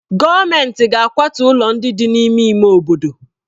Gọọmentị ga-akwatu ụlọ ndị dị n'ime ime obodo.